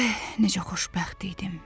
Eh, necə xoşbəxt idim.